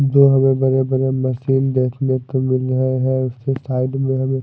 दो हमें बड़े बड़े मशीन देखने को मिल रहे है उसके साइड में हमें--